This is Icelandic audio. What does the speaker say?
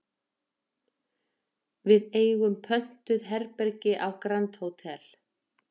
Við eigum pöntuð herbergi á Grand Hotel